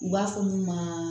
U b'a fɔ min ma